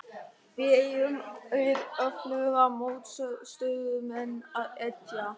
Við eigum við öfluga mótstöðumenn að etja.